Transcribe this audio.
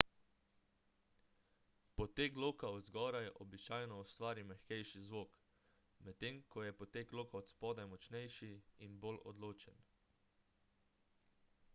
poteg loka od zgoraj običajno ustvari mehkejši zvok medtem ko je poteg loka od spodaj močnejši in bolj odločen